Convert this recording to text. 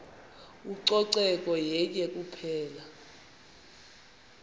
ucoceko yenye kuphela